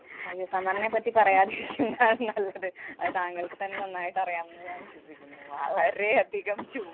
അയ്യോ summer നെ പറ്റി പറയാതിരിക്കുന്നതാണ് നല്ലത്. അത് താങ്കള്‍ക്ക് തന്നെ നന്നായിട്ട് അറിയാമെന്നു ഞാന്‍ വിശ്വസിക്കുന്നു. വളരെയധികം ചൂ~